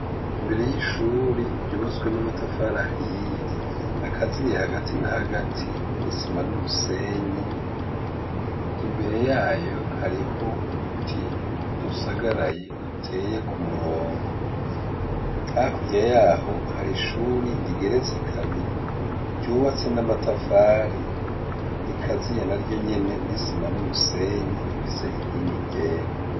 Imbere y'ishure ryubatswe n'amatafari ahiye akaziye hagati n'ahagati n'isima n'umusenyi, imbere yayo hariho uduti dusagaraye duteye ku murongo . Hakurya yaho hari ishuri rigeretse kabiri ryubatse n'amatafari rikaziye na ryo nyene n'isima n'umusenyi rifise inkingi ryera.